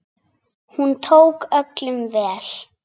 Hún tók öllum vel.